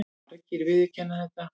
Margir viðurkenna þetta.